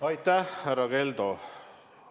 Aitäh, härra Keldo!